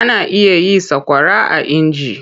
Ana iya yin sakwara a inji.